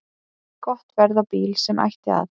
Gott verð á bíl sem ætti að